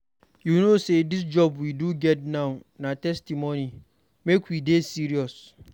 You no say dis job we do get now na testimony, make we dey serious.